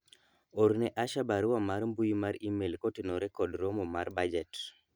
orne Asha barua mar mbui mar email kotenore kod romo mar bajet